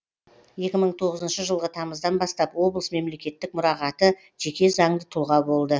екі мың тоғызыншы жылғы тамыздан бастап облыс мемлекеттік мұрағаты жеке заңды тұлға болды